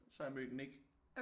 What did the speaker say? Så har jeg mødt Nik